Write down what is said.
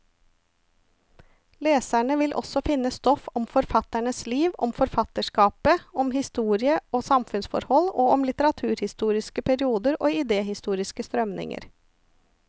Leserne vil også finne stoff om forfatternes liv, om forfatterskapet, om historie og samfunnsforhold, og om litteraturhistoriske perioder og idehistoriske strømninger.